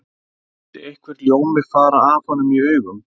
Skyldi einhver ljómi fara af honum í augum